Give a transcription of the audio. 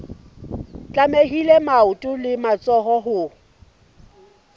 tlamehile maoto le matsoho ho